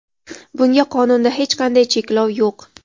Bunga qonunda hech qanday cheklov yo‘q.